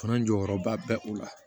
Fana jɔyɔrɔba bɛ u la